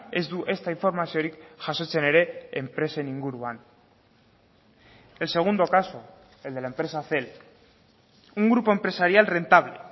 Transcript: ez du ezta informaziorik jasotzen ere enpresen inguruan el segundo caso el de la empresa cel un grupo empresarial rentable